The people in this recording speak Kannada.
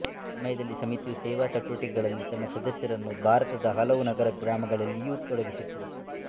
ಈ ಸಮಯದಲ್ಲಿ ಸಮಿತಿಯು ಸೇವಾ ಚಟುವಟಿಕೆಗಳಲ್ಲಿ ತನ್ನ ಸದಸ್ಯರನ್ನು ಭಾರತದ ಹಲವು ನಗರ ಗ್ರಾಮಗಳಲ್ಲಿಯೂ ತೊಡಗಿಸಿತು